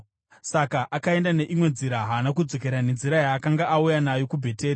Saka akaenda neimwe nzira, haana kudzokera nenzira yaakanga auya nayo kuBheteri.